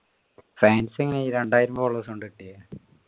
fans എങ്ങനെയാ ഈ രണ്ടായിരം followers കൊണ്ട് കിട്ടിയേ